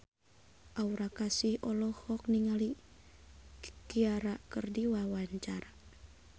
Aura Kasih olohok ningali Ciara keur diwawancara